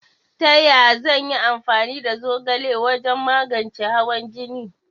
Taya zan yi amfani da zogala wajan magance hawan jine?